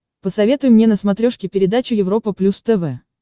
посоветуй мне на смотрешке передачу европа плюс тв